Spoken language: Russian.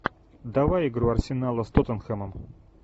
давай игру арсенала с тоттенхэмом